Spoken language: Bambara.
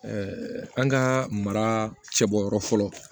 an ka mara cɛ bɔ yɔrɔ fɔlɔ